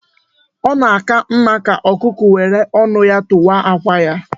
Ọ na aka mma ka ọkụkọ were ọnụ ya tụwa àkwà ya